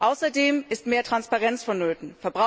Außerdem ist mehr Transparenz vonnöten.